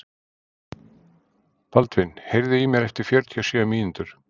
Baldvin, heyrðu í mér eftir fjörutíu og sjö mínútur.